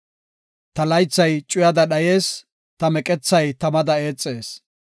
Ta laythay cuyada dhayees; ta meqethay tamada eexees.